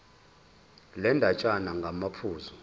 le ndatshana ngamaphuzu